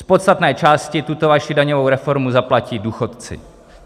Z podstatné části tuto vaši daňovou reformu zaplatí důchodci.